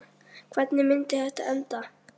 Hvernig myndi þetta enda?